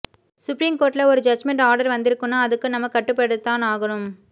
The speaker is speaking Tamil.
சுப்ரீம்கோர்ட்ல ஒரு ஜட்ஜ்மெண்ட் ஆர்டர் வந்திருக்குன்னா அதுக்கு நம்ம கட்டுப்படுத்தான் ஆகனும்